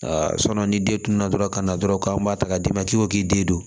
ni den tunun na dɔrɔn ka na dɔrɔn k'an b'a ta ka d'i ma k'i ko k'i den don